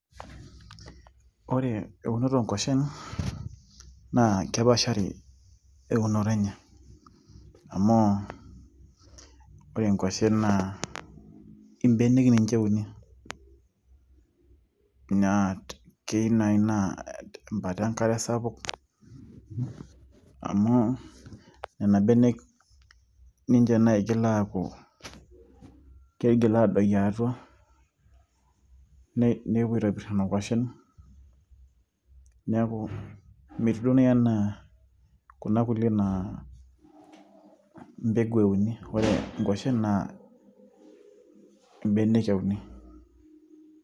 ore eunoto oonkuashen nakepaashari eunoto enye amu ore inkuashen naa imbenek ninche euni naa keyieu naaji naa tembata enkare sapuk amu nena benek ninche naigil aapuo keigil adoyio atua nepuo aitobirr nena kuashen neeku metiu duo naaji enaa kuna kulie naa mbegu euni ore inkuashen naa imbenek euni.